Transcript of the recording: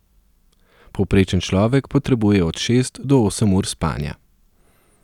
Povprečen človek potrebuje od šest do osem ur spanja.